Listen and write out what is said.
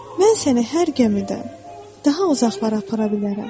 Mən səni hər gəmidən daha uzaqlara apara bilərəm.